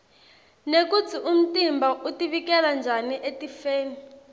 nekutsi umtimba utivikela njani etifeni